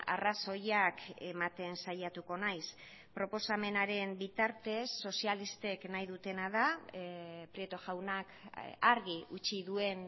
arrazoiak ematen saiatuko naiz proposamenaren bitartez sozialistek nahi dutena da prieto jaunak argi utzi duen